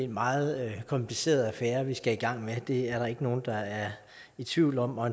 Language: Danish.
meget kompliceret affære vi skal i gang med det er der ikke nogen der er i tvivl om og